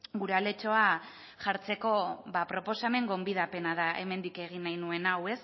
gure aletxoa jartzeko proposamen gonbidapena da hemendik egin nahi nuen hau